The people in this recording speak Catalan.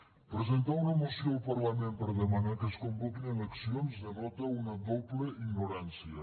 presentar una moció al parlament per demanar que es convoquin eleccions denota una doble ignorància